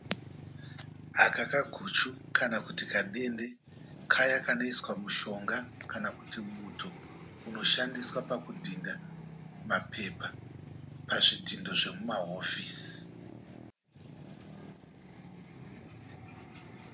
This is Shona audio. Aka kaguchu kana kuti kabembe kaya kanoiswa mushonga kana kuti muto unoshandiswa pakudhidha mapepa pazvidhindo zvemuma hofisi.